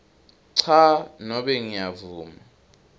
cha nobe ngiyavuma